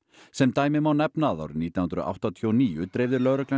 sem dæmi má nefna að árið nítján hundruð áttatíu og níu dreifði lögreglan